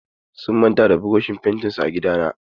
Sun manta da burushin fentin su a gidana.